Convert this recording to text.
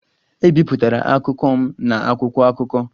Ebipụtara akụkọ m na akwụkwọ akụkọ.